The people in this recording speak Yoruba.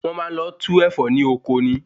Wọn Maa n lọ tú Ẹ̀fọ́ ní ọkọ ni